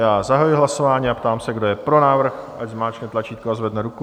Já zahajuji hlasování a ptám se, kdo je pro návrh, ať zmáčkne tlačítko a zvedne ruku.